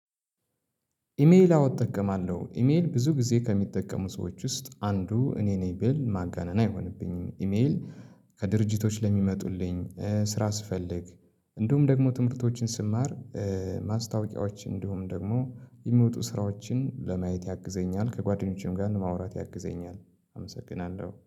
ኢሜይል አዎ እጠቀማለሁ ኢሜይል ብዙ ጊዜ ከሚጠቀሙ ሰዎች ውስጥ አንዱ እኔ ነኝ። ቢል ማጋነና አይሆንብኝ ኢሜይል ከድርጅቶች ለሚመጡልኝ ስራ ስፈልግ እንዲሁም ደግሞ ትምህርቶችን ስማር ማስታወቂያዎች እንዲሁም ደግሞ የሚወጡ ስራዎችን ለማየት ያግዘኛል። ከጓደኞቼም ጋር ለማውራት ያግዘኛል። አመሰግናለሁ